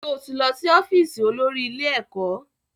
Sọ ti lọ sí ọ́fíìsì olórí ilé ẹ̀kọ́?